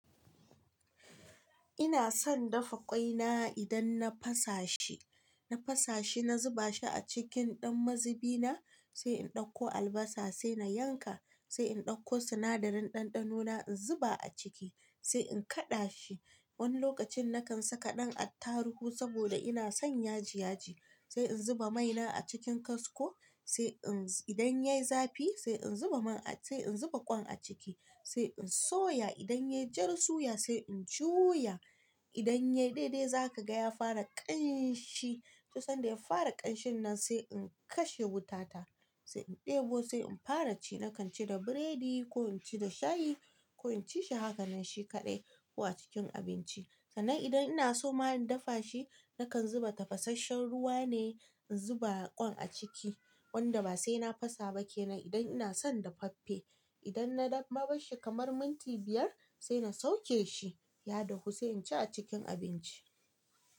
Ina son dafa ƙwai na idan na fasashi, na fasashi, na zuba shi a cikin ɗan mazubi na, sai in ɗauko albasa sai na yanka, sai in ɗauko sinadarin ɗanɗano na in zuba a ciki sai in kaɗa shi. Wani lokacin nakan saka ɗan attarugu saboda ina son yaji yaji. Sai in zuba mai na a cikin kasko, sai in-- idan yai zafi sai in zuba man a-- sai in zuba ƙwan a ciki sai in soya idan yayi jar suya sai in juya. Idan yayi daidai za ka ga ya fara ƙanshi, to sanda ya fara ƙanshin nan sai in kashe wuta ta, sai in ɗebo sai in fara ci. Nakan ci da biredi ko in ci da shayi ko in ci shi hakanan shi kaɗai ko a cikin abinci. Sannan idan ina so ma in dafa shi, nakan zuba tafasasshen ruwa ne, in zuba ƙwan a ciki, ƙwan da ba sai na fasa ba ke nan idan ina son dafaffe. Idan na daf nabarshi kamar minti biyar sai na sauke shi, ya dahu sai in ci a cikin abinci.